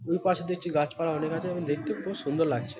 দুপাশে দেখছি গাছপালা অনেক আছে এবং দেখতে খুব সুন্দর লাগছে।